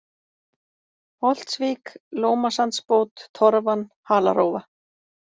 Holtsvík, Lómasandsbót, Torfan, Halarófa